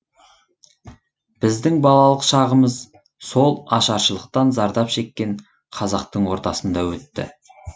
біздің балалық шағымыз сол ашаршылықтан зардап шеккен қазақтың ортасында өтті